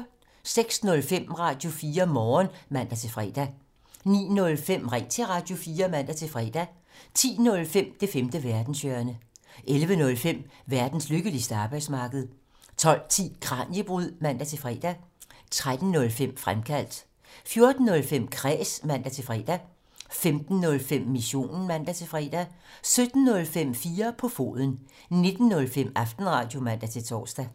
06:05: Radio4 Morgen (man-fre) 09:05: Ring til Radio4 (man-fre) 10:05: Det femte verdenshjørne 11:05: Verdens lykkeligste arbejdsmarked 12:10: Kraniebrud (man-fre) 13:05: Fremkaldt 14:05: Kræs (man-fre) 15:05: Missionen (man-fre) 17:05: 4 på foden 19:05: Aftenradio (man-tor)